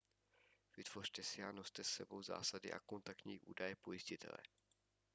vytvořte si a noste s sebou zásady a kontaktní údaje pojistitele